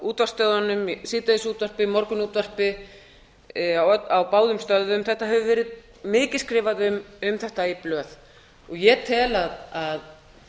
útvarpsstöðvunum í síðdegisútvarpi morgunútvarpi á báðum stöðvum það hefur verið mikið skrifað um þetta í blöð ég tel að